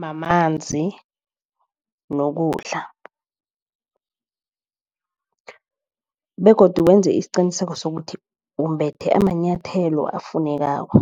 mamanzi nokudla begodu wenze isiqiniseko sokuthi umbethe amanyathelo afunekako.